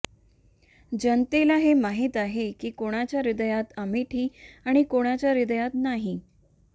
जनतेला हे माहिती आहे की कुणाच्या हृदयात अमेठी आणि कुणाच्या हृदयात नाही